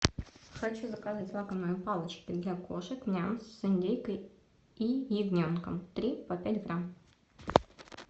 хочу заказать лакомые палочки для кошек ням с индейкой и ягненком три по пять грамм